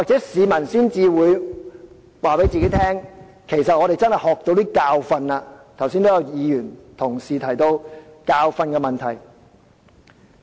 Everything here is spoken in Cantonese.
市民或會告訴自己，我們在此事上汲取一些教訓，剛才也有同事提到教訓的問題。